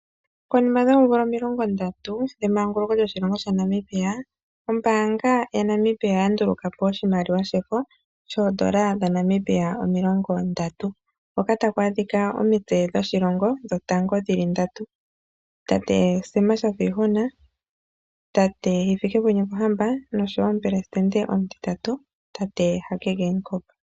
Konima yoomvula omilongo ndatu yemanguluko lyoshilongo sha Namibia, ombaanga yaNamibia oya nduluka po oshimaliwa shefo shoondola dhaNamibia omilongondatu hono takwaadhika omitse dhoshilongo dhotango dhili ndatu tate Sam Shafiihuna, Hifikepunye Pohamba nomutitatu tate Hage Geigob.